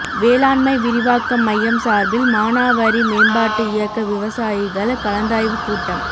வேளாண்மை விரிவாக்க மையம் சார்பில் மானாவாரி மேம்பாட்டு இயக்க விவசாயிகள் கலந்தாய்வு கூட்டம்